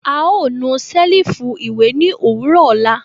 A o nu selifu iwe ni owurọ ọla.